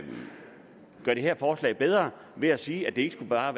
gøre det her forslag bedre ved at sige at det ikke bare